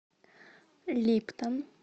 липтон